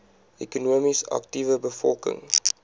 ekonomies aktiewe bevolking